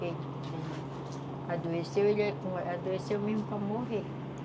Quando ele adoeceu, ele adoeceu mesmo para morrer.